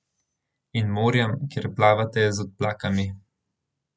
In morjem, kjer plavate z odplakami.